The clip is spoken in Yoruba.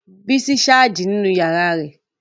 Bísọ́lá sáàjì nínu yàrá rẹ̀